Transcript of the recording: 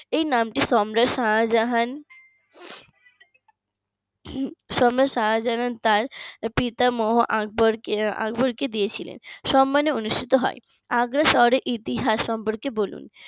এই নামটি সম্রাট শাহজাহান সম্রাট শাহজাহান তার পিতামহ আ আকবর কে দিয়েছিলেন সম্মানে অনুষ্ঠিত হয় আগ্রা শহরের ইতিহাস সম্পর্কে বলুন